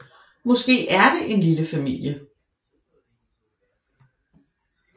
Måske er det en lille familie